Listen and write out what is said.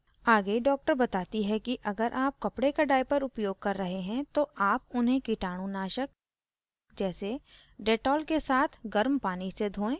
आगे doctor बताती है कि अगर आप कपडे का diapers उपयोग कर रहे हैं तो आप उन्हें कीटाणुनाशक जैसे dettol के साथ गर्म पानी से धोएं